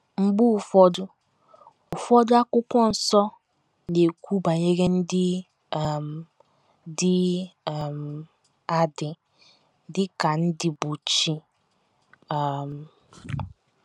Mgbe ụfọdụ, ụfọdụ, Akwụkwọ Nsọ na - ekwu banyere ndị um dị um adị dị ka ndị bụ́ chi um.